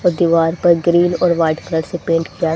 वो दीवार पर ग्रीन और व्हाइट कलर से पेंट किया--